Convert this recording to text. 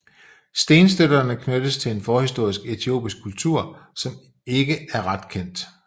Stenstøtterne knyttes til en forhistorisk etiopisk kultur som er ikke er ret kendt